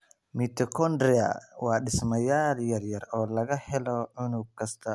Mitochondria waa dhismayaal yaryar oo laga helo unug kasta oo jirka ah.